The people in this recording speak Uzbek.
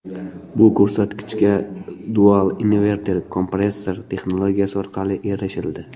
Bu ko‘rsatkichga Dual Inverter Compressor™ texnologiyasi orqali erishildi.